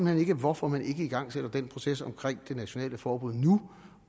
hen ikke hvorfor man ikke igangsætter den proces omkring det nationale forbud nu